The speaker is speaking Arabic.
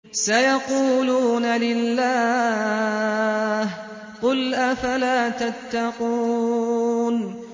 سَيَقُولُونَ لِلَّهِ ۚ قُلْ أَفَلَا تَتَّقُونَ